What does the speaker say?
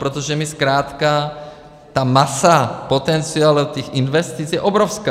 Protože my zkrátka - ta masa potenciálu těch investic je obrovská.